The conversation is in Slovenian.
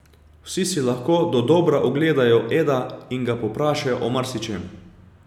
Vsi si lahko dodobra ogledajo Eda in ga povprašajo o marsičem.